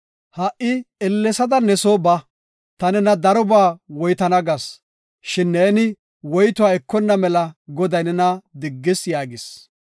Ha77i ellesada ne soo ba; ta nena darobaa woytana gas, shin neeni woytuwa ekonna mela Goday nena diggis” yaagis.